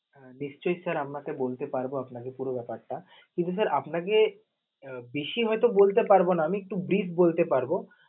নিশ্চয়ই sir তা বলতে পারব আপনাকে পুরো ব্যাপারটা, কিন্তু sir আপনাকে বেশি হয়তো বলতে পারব না, আমি একটু bird বলতে পারব.